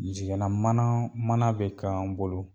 Jiginna mana mana bɛ k'an bolo